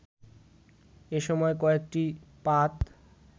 এসময় কয়েকটি পাত